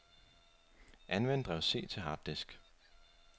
Anvend drev C til harddisk.